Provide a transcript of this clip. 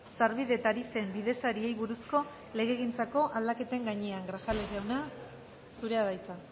sarbide tarifen bidesariei buruzko legegintzako aldaketen gainean grajales jauna zurea da hitza